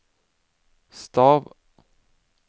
stav